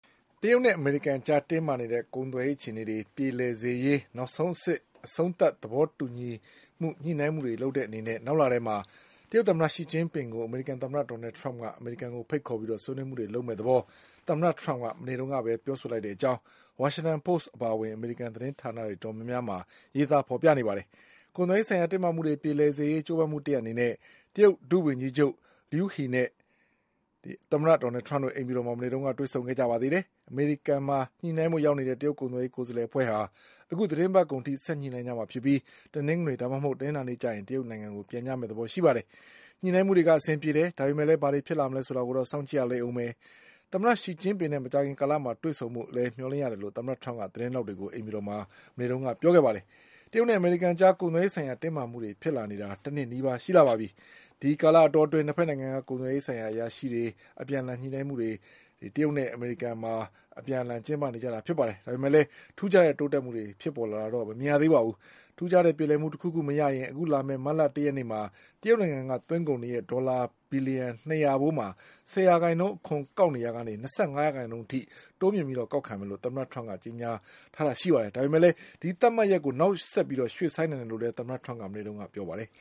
တရုတ်နဲ့အမေရိကန်အကြား တင်းမာနေတဲ့ ကုန်သွယ်ရေးအခြေအနေတွေ ပြေလည်စေရေး နောက်ဆုံးအဆင့် အဆုံးသတ်သဘောတူ ညှိနှိုင်းတဲ့အနေနဲ့ နောက်လထဲမှာ တရုတ်သမ္မတရှီကျင်းပင်ကို အမေရိကန်သမ္မတဒေါ်နလ် ထရမ့်က အမေရိကန်ကိုဖိတ်ခေါ်ပြီး ဆွေးနွေးမှုတွေလုပ်မယ့်သဘော သမ္မတထရမ့်က မနေ့ကပဲပြောလိုက်တဲ့အကြောင်း ဝါရှင်တန်ပို့စ်အပါအဝင် အမေရိကန်သတင်းဌာနတွေမှာရေးသားဖေါ်ပြနေကြပါတယ်။ ကုန်သွယ်ရေးဆိုင်ရာတင်းမာမှုတွေ ပြေလည်ရေးကြိုးပမ်းမှုတရပ်အနေနဲ့ တရုတ်ဒုဝန်ကြီးချုပ် Liu He နဲ့ သမ္မတထရမ့်တို့ အိမ်ဖြူတော်မှာ မနေ့က တွေ့ဆုံခဲ့ကြပါသေးတယ်။ အမေရိကန်မှာ ညှိနှိုင်းဖို့ ရောက်နေတဲ့ တရုတ်ကုန်သွယ်ရေး ကိုယ်စားလှယ်အဖွဲ့ဟာ အခုသီတင်းပတ်ကုန်အထိ ဆက်ပြီး ညှိနှိုင်းကြမှာဖြစ်ပြီး တနင်္ဂနွေနေ့ ဒါမှမနဟုတ် တနင်္လာနေ့မှာ တရုတ်နိုင်ငံကို ပြန်ကြပါလိမ့်မယ်။ ညှိနှိုင်းမှုတွေက အဆင်ပြေတယ်၊ ဒါပေမဲ့လည်း ဘာတွေဖြစ်လာမလဲဆိုတာကို ကြည့်ရလိမ့်ဦးမယ်။ သမ္မတရှီကျင်းပင်နဲ့ မကြာခင်ကာလမှာ တွေ့ဆုံဖို့ လည်း မျှော်လင့်ရတယ်လို့ သမ္မတထရမ့်က သတင်းထောက်တွေကို အိမ်ဖြူတော်မှာ မနေ့ကပြောခဲ့ပါတယ်။ တရုတ်နဲ့အမေရိကန်အကြား ကုန်သွယ်ရေးဆိုင်ရာ တင်းမာမှုတွေဖြစ်လာနေတာ တနှစ်နီးပါးရှိလာပါပြီ။ ဒီကာလအတောအတွင်း ၂ ဘက်နိုင်ငံက ကုန်သွယ်ရေးဆိုင်ရာအရာရှိတွေရဲ့ အပြန်အလှန် ညှိနှိုင်းမှုတွေက တရုတ်မှာရော အမေရိကန်မှာပါ ကျင်းပနေကြတာဖြစ်ပါတယ်။ ဒါပေမဲ့လည်း ထူးခြားတဲ့ တိုးတက်မှုတွေဖြစ်ပေါ်လာတာတော့ မမြင်ရသေးပါဘူး။ ထူးခြားတဲ့ပြေလည်မှုတခုခုမရရင် အခုလာမယ့်မတ်လတရက်နေ့မှာ တရုတ်နိုင်ငံက သွင်းကုန်တွေရဲ့ ဒေါ်လာ၂၀၀ ဘီလျှံဘိုးမှာ ၁၀ ရာခိုင်နှုန်း အခွန်ကောက်နေရာက ၂၅ ရာခိုင်နှုန်းတိုးမြှင့်ပြီးကောက်ခံသွားမယ်လို့ သမ္မတ ထရမ့်က ကြေညာထားပေမဲ့လည်း ဒီသတ်မှတ်ရက်ကို နောက်ဆက်ပြီး ရွှေ့ဆိုင်းနိုင်တယ်လို့လည်း သမ္မတထရမ့်က မနေ့က ပြောပါတယ်